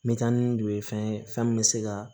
metanidu ye fɛn ye fɛn min bɛ se ka